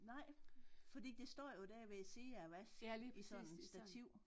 Nej fordi det står jo dér ved siden af vask i sådan stativ